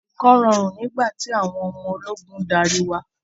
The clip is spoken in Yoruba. Nǹkan rọrùn nígbà tí àwọn ọmọ ológun ń darí wa.